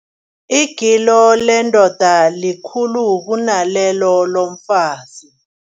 Igilo lendoda likhulu kunalelo lomfazi.